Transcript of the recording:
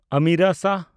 Amira Shah